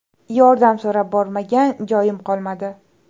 Yordam so‘rab bormagan joyim qolmadi.